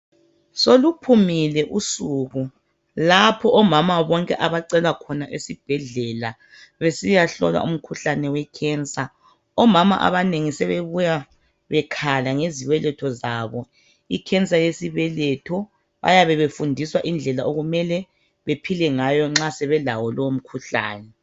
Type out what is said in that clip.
Soluphumile usuku lapho omama bonke abacelwa khona esibhedlela besiyahlolwa umkhuhlane owekhensa. Omama abanengi sebebuya bekhala ngezibeletho zabo ikhensa yesibeletho, bayabe befundiswa indlela okumele bephile ngayo nxa sebelawo lowo mkhuhlane.